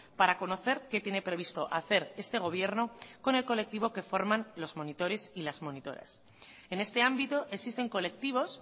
para conocer qué tiene previsto hacer este gobierno con el colectivo que forman los monitores y las monitoras en este ámbito existen colectivos